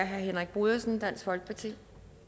er herre henrik brodersen dansk folkeparti